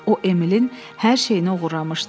O Emilin hər şeyini oğurlamışdı.